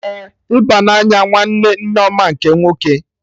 Ee, ịba na-anya nwanne Nneoma nke nwoke